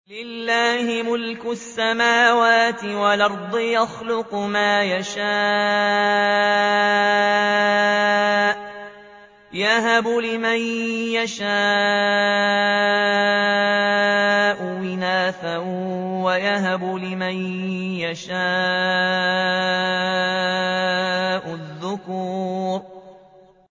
لِّلَّهِ مُلْكُ السَّمَاوَاتِ وَالْأَرْضِ ۚ يَخْلُقُ مَا يَشَاءُ ۚ يَهَبُ لِمَن يَشَاءُ إِنَاثًا وَيَهَبُ لِمَن يَشَاءُ الذُّكُورَ